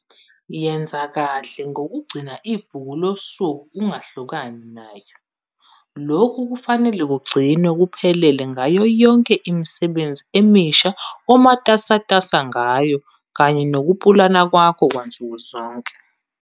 Yenza kahle ngokugcina ibhuku losuku ungahlukani nayo. Lokhu kufanele kugcinwe kuphelele ngayo yonke imisebenzi emisha omatasatasa ngayo kanye nokupulana kwakho kwansuku zonke.